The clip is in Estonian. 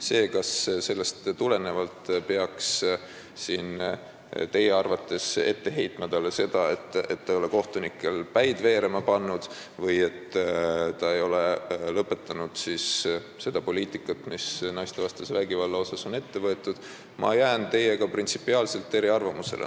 Selles, kas sellest tulenevalt peaks talle ette heitma seda, et ta ei ole kohtunikel päid veerema pannud või lõpetanud seda poliitikat, mis on naistevastase vägivalla vastu ette võetud, jään ma teiega printsipiaalselt eriarvamusele.